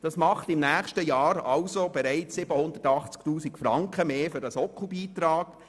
Das macht 2018 bereits zusätzliche 780 000 Franken aus für den Sockelbeitrag.